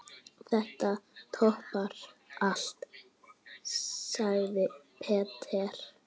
Þetta toppar allt, sagði Peter.